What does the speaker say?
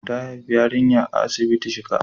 Ta haifi yarinya a asibitin shika.